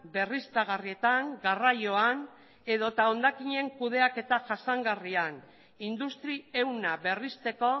berriztagarrietan garraioan edo eta hondakinen kudeaketa jasangarrian industri ehuna berristeko